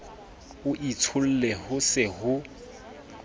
o itshole ho se ho